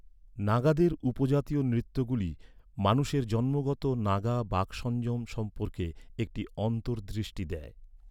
নাগাদের উপজাতীয় নৃত্যগুলি মানুষের জন্মগত নাগা বাকসংযম সম্পর্কে একটি অন্তর্দৃষ্টি দেয়।